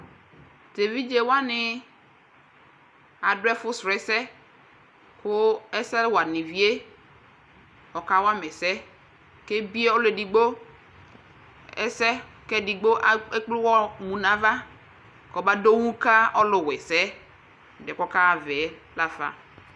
tɛ vidzɛ wani adʋ ɛfʋ srɔɛsɛ kʋ ɛsɛ wani viɛ ɔka wama ɛsɛ kʋ ɛbiɛ ɔlʋ ɛdigbo ɛsɛ kʋ ɛdigbo a ɛkplɛ ʋwɔ mʋnaɣa kʋba doŋhu ka ɔlʋ wa ɛsɛ ɛdiɛ ɔka havɛ la fa